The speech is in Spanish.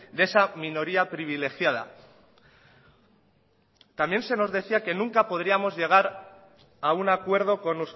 de esa minoría privilegiada también se nos decía